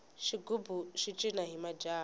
xigubu xi cina hi majaha